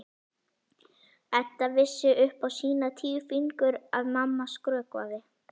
Edda vissi upp á sína tíu fingur að mamma skrökvaði.